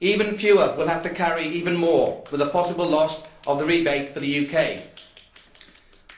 Even fewer will have to carry even more, with a possible loss of the rebate for the UK.